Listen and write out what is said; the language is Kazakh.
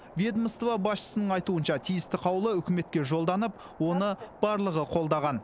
ведомство басшысының айтуынша тиісті қаулы үкіметке жолданып оны барлығы қолдаған